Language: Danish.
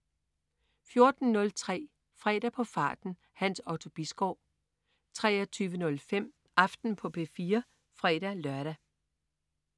14.03 Fredag på farten. Hans Otto Bisgaard 23.05 Aften på P4 (fre-lør)